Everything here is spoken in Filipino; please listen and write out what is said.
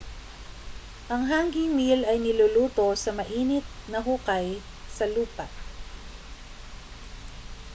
ang hangi meal ay niluluto sa mainit na hukay sa lupa